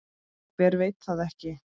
Hver veit það ekki?